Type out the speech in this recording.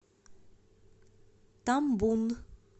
тамбун